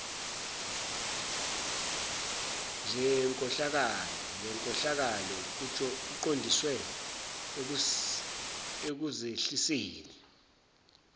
ngenkohlakalo kuqondiswe ekuzehliseni